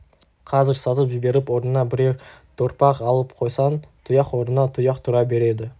қазір сатып жіберіп орнына бірер торпақ алып қойсаң тұяқ орнына тұяқ тұра береді